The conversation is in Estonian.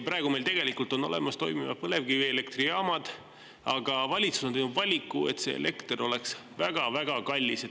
Praegu on meil olemas toimivad põlevkivielektrijaamad, aga valitsus on, et see elekter oleks väga-väga kallis.